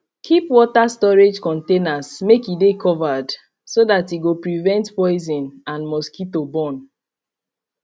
keep water storage containers make e de covered so that e go prevent poison and mosquito born